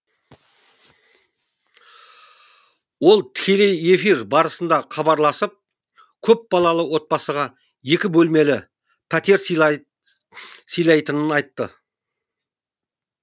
ол тікелей эфир барысында хабарласып көпбалалы отбасыға екі бөлмелі пәтер сыйлайтынын айтты